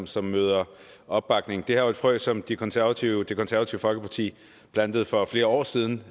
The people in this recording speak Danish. som møder opbakning det her er jo et frø som det konservative det konservative folkeparti plantede for flere år siden